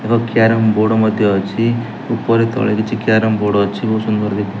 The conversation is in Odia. କ୍ୟାରମ ବୋର୍ଡ ମଧ୍ଯ ଅଛି ଉପରେ ତଳେ କିଛି କ୍ୟାରମ ବୋର୍ଡ ଅଛି ବହୁତ ସୁନ୍ଦର ଦେଖା --